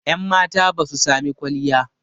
yanmata ba su samii kwalliya